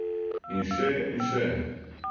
In še in še ...